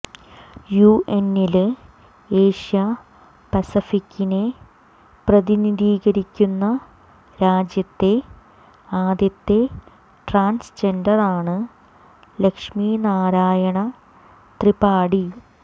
യുഎന്നില് Asia പസഫിക്കിനെ പ്രതിനിധീകരിക്കുന്ന രാജ്യത്തെ ആദ്യത്തെ ട്രാന്സ്ജെന്ഡറാണ് ലക്ഷ്മി നാരായണ ത്രിപാഠി